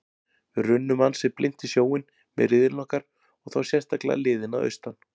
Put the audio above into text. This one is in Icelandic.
Við runnum ansi blint í sjóinn með riðillinn okkar og þá sérstaklega liðin að austan.